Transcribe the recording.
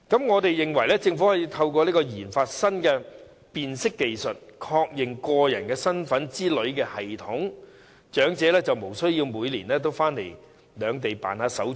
我們認為，政府可以透過研發新的辨識技術，例如確認個人身份等的系統，使長者無須每年往返兩地辦理手續。